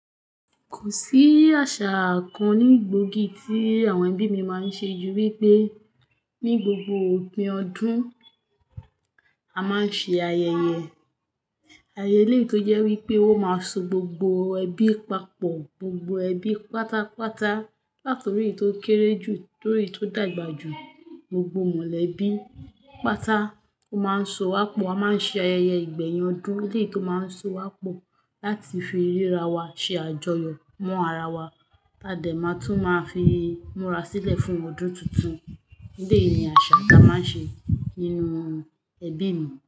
Kò sí àṣà kan ní gbòógì tí àwọn ẹbí mi máa ń ṣe jù wípé ní gbogbo òpin ọdún a máa ń ṣe ayẹyẹ. Ayẹyẹ léè yì tó jẹ́ wípé ó máa so gbogbo ẹbí papọ̀, gbogbo ẹbí pátápátá. Látòrí èyí tó kéré jù, dorí èyí tó dàgbà jù, gbogbo mọ̀lẹ́bí pátá ó máa ń so wá pọ̀. A máa ń ṣe ayẹyẹ ìgbẹ̀yìn ọdún léyìí tó máa ń so wá pọ̀ láti fi ríra wa ṣe àjọyọ̀ mọ́ ara wa. Tádè máa tún máa fi múra sílẹ̀ fún ọdún tuntun. Bẹ́ẹ̀ni àṣà ta máa ń ṣe nínú ẹbí mi.